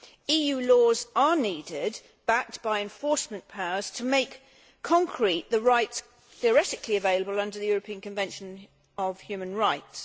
EU laws are needed, backed by enforcement powers, to make concrete the rights theoretically available under the European Convention on Human Rights.